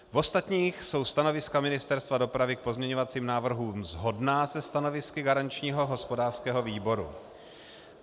V ostatních jsou stanoviska Ministerstva dopravy k pozměňovacím návrhům shodná se stanovisky garančního hospodářského výboru.